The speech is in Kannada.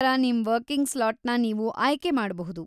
ಅದ್ರ ಪ್ರಕಾರ ನಿಮ್ ವರ್ಕಿಂಗ್ ಸ್ಲಾಟ್‌ನ ನೀವು ಆಯ್ಕೆ ಮಾಡ್ಕೊಬಹುದು.